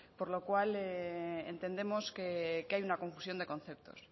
por lo cual entendemos que hay una confusión de conceptos